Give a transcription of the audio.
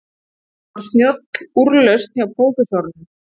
Það var snjöll úrlausn hjá prófessornum.